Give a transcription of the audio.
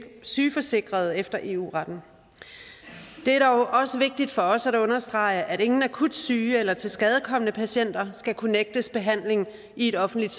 sygeforsikret efter eu retten det er dog også vigtigt for os at understrege at ingen akut syge eller tilskadekomne patienter skal kunne nægtes behandling i et offentligt